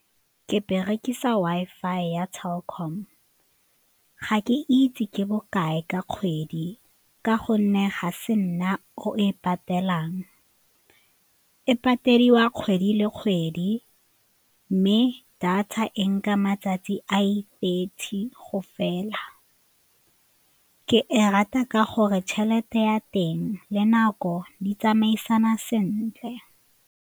Ke berekisa Wi-Fi ya Telkom. Ga ke itse ke bokae ka kgwedi ka gonne ga se nna o e patelang, e patediwa kgwedi le kgwedi mme di tsa e nka matsatsi a i-thirty go fela, ke e rata ka gore tšhelete ya teng le nako di tsamaisana sentle.